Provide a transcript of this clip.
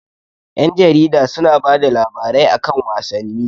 Ƴan jarida su na bada labarai a kan wasanni